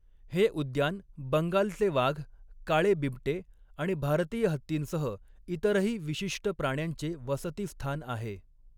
हे उद्यान बंगालचे वाघ, काळे बिबटे आणि भारतीय हत्तींसह इतरही विशिष्ट प्राण्यांचे वसतिस्थान आहे.